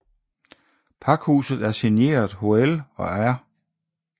Pakhuset er signeret Hoel og R